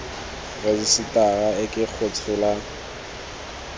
rejisetara e ke go tshola